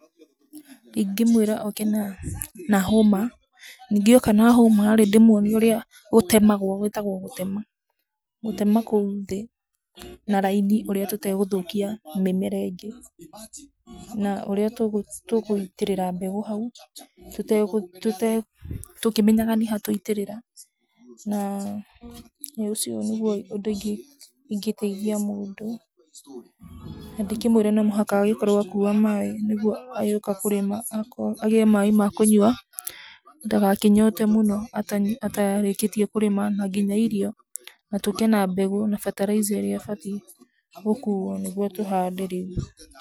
Ingĩmwĩra oke na hũma. Ningĩ oka na hũma rĩ, ndĩmwonie ũrĩa gũtemagwo, gwĩtagwo gũtema. Gũtema kũu thĩ na raini ũrĩa tũtegũthũkia mĩmera ĩngĩ na ũrĩa tũkũitĩrĩrĩa mbegũ hau, tũtegũ, tũkĩmenyaga nĩ ha twaitĩrĩra, na nĩ ũcio nĩguo ũndũ ingĩteithia mũndũ. Na ndĩkĩmwĩre no mũhaka agĩkorwo akua maaĩ nigũo agĩũka kũrĩma agĩe maaĩ makũnyua ndagakĩnyote mũno atarĩkĩtie kũrĩma. Na nginya irio, na tũũke na mbegũ na fertilizer ĩrĩa ĩbatiĩ gũkuo nĩguo tũhande rĩu.